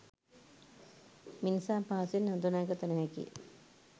මිනිසා පහසුවෙන් හඳුනාගත නොහැකිය